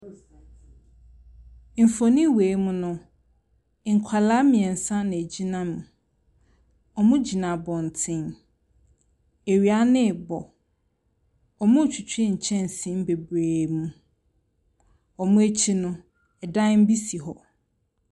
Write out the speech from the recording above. Mfonin wei mu no, nkwadaa mmeɛnsa na wɔgyina mu. Wɔgyina abɔntene. Awia no rebɔ. Wɔretwitwi nkyɛnsee bebree mu. Wɔn akyi no, dan bi si hɔ.